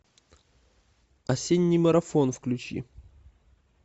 осенний марафон включи